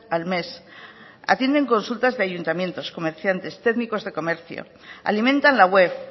al mes atienden consultas de ayuntamientos como decía antes técnicos de comercio alimentan la web